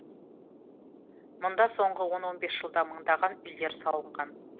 мұнда соңғы он он бес жылда мыңдаған үйлер салынған